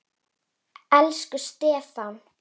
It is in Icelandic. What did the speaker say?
Elsku Stefán.